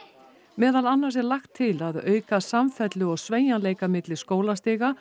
meðal annars er lagt til að auka samfellu og sveigjanleika milli skólastiga